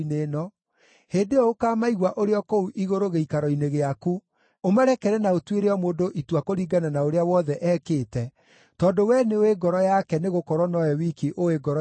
hĩndĩ ĩyo ũkaamaigua ũrĩ o kũu igũrũ gĩikaro-inĩ gĩaku, ũmarekere na ũtuĩre o mũndũ itua kũringana na ũrĩa wothe ekĩte, tondũ we nĩũĩ ngoro yake nĩgũkorwo nowe wiki ũũĩ ngoro cia andũ,